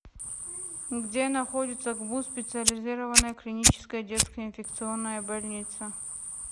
где находится гбуз специализированная клиническая детская инфекционная больница